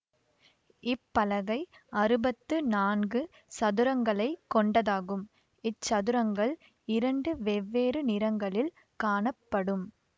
இப்பலகை அறுபத்து நான்கு சதுரங்களைக் கொண்டதாகும் இச்சதுரங்கள் இரண்டு வெவ்வேறு நிறங்களில் காணப்படும்